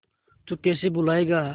तू कैसे भूलाएगा